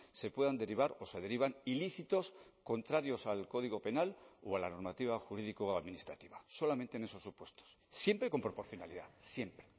se puedan derivar o se derivan ilícitos contrarios al código penal o a la normativa jurídico administrativa solamente en esos supuestos siempre con proporcionalidad siempre